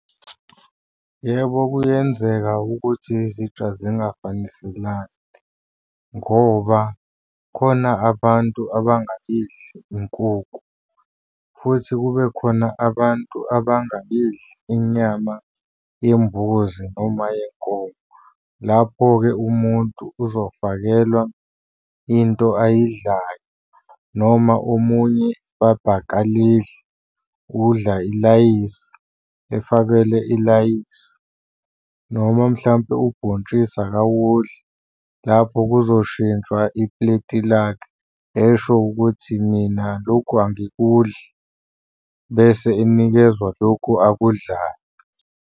Yebo, kuyenzeka ukuthi zitsha zingafaniselani, ngoba khona abantu abangayidli inkuku, futhi kube khona abantu abangayidli inyama yembuzi noma yenkomo. Lapho-ke, umuntu uzofakelwa into ayidlayo noma omunye ipapa akalidli, udla ilayisi efakelwe ilayisi, noma mhlampe ubhontshisi akawudli, lapho kuzoshintshwa ipuleti lakhe. Esho ukuthi mina lokhu angikudli bese enikezwa lokhu akudlayo.